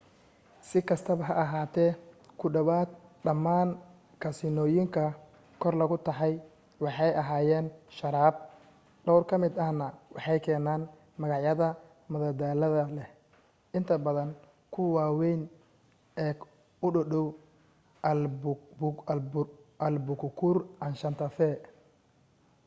si kastaba ha ahaatee ku dhowaad dhammaan kasiinooyinka kor lagu taxay waxay hayaan sharaab dhowr ka mid ahna waxay keenaan magacyada madadaalada leh inta badan kuwa waawayn eek u dhowdhow albuquerque and santa fe